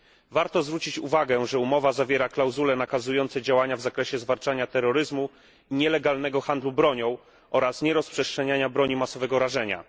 Warto zwrócić uwagę, że umowa zawiera klauzule nakazujące działania w zakresie zwalczania terroryzmu, nielegalnego handlu bronią oraz nierozprzestrzeniania broni masowego rażenia.